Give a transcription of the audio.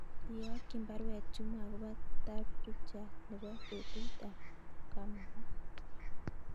Iyokyin baruet Juma agobo tafrijait nebo petut ab kamunyet